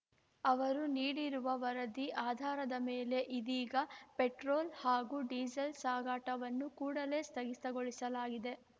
ಅವರು ನೀಡಿರುವ ವರದಿ ಆಧಾರದ ಮೇಲೆ ಇದೀಗ ಪೆಟ್ರೋಲ್‌ ಹಾಗೂ ಡೀಸೆಲ್‌ ಸಾಗಾಟವನ್ನು ಕೂಡಲೇ ಸ್ಥಗಿತಗೊಳಿಸಲಾಗಿದೆ